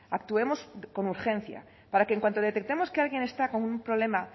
actuemos con urgencia para que en cuanto detectemos que alguien está con un problema